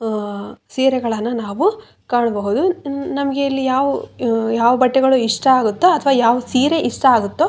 ಹ ಸೀರೆಗಳನ್ನ ನಾವು ಕಾಣಬಹುದು ನಮ್ಗೆ ಇಲ್ಲಿ ಯಾವ್ ಯಾವ ಬಟ್ಟೆಗಳು ಇಷ್ಟ ಆಗುತ್ತೊ ಅಥ್ವ ಯಾವ್ ಸೀರೆ ಇಷ್ಟ ಆಗುತ್ತೋ--